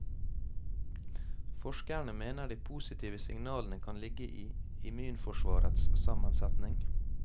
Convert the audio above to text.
Forskerne mener de positive signalene kan ligge i immunforsvarets sammensetning.